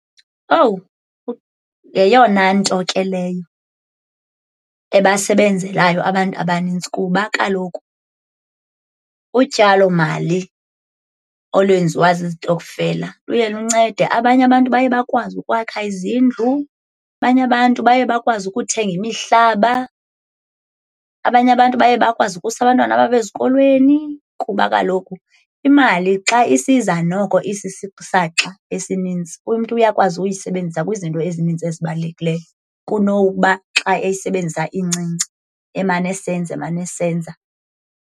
Owu yeyona nto ke leyo ebasebenzelayo abantu abanintsi, kuba kaloku utyalomali olwenziwa zizitokfela luye luncede. Abanye abantu baye bakwazi ukwakha izindlu, abanye abantu baye bakwazi ukuthenga imihlaba, abanye abantu baye bakwazi ukusa abantwana babo ezikolweni. Kuba kaloku imali xa isiza noko isisisaxa esinintsi umntu uyakwazi uyisebenzisa kwizinto ezinintsi ezibalulekileyo, kunokuba xa eyisebenzisa incinci emane esenza emane esenza.